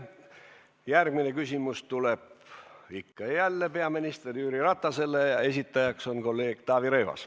Järgmine küsimus tuleb jälle peaminister Jüri Ratasele, esitajaks on kolleeg Taavi Rõivas.